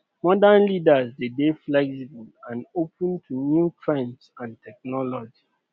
modern leaders de dey flexible and open to new trends and technology